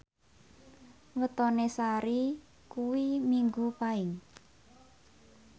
wetone Sari kuwi Minggu Paing